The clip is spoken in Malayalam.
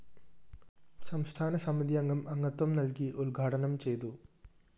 സംസ്ഥാന സമിതിയംഗം അംഗത്വം നല്‍കി ഉദ്ഘാടനം ചെയ്തു